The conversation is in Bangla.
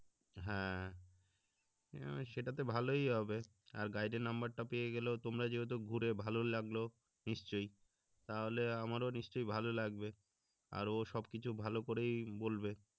হ্যা সেটা তো ভালোই হবে আর গাইডের নাম্বার টা পেয়ে গেলেও তোমরা যেহেতু ঘুরে ভালো লাগল নিশ্চয়ই তাহলে আমারও নিশ্চয়ই ভালো লাগবে আর ওসব কিছু ভালো করেই বলবে